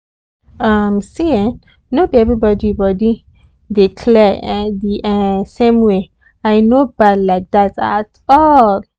um see make everybody body dey clear um di same way and e no bad like that at all.